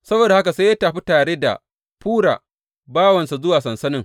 Saboda haka sai ya tafi tare da Fura bawansa zuwa sansanin.